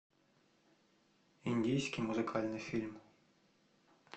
индийский музыкальный фильм